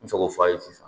N bɛ se k'o f'a ye sisan